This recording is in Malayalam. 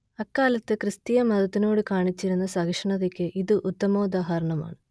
അക്കാലത്ത് ക്രിസ്തീയ മതത്തിനോടു കാണിച്ചിരുന്ന സഹിഷ്ണൂതക്ക് ഇത് ഉത്തമോദാഹരണമാണ്